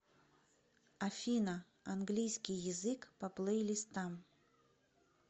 афина английский язык по плейлистам